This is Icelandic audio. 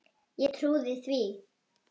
Ég trúði því.